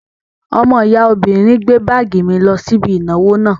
Ọmọ ìyá obìnrin gbé báàgì mi lọ sí ibi ìnáwó náà